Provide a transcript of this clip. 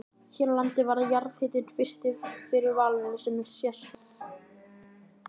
Hér á landi varð jarðhitinn fyrst fyrir valinu sem sérsvið.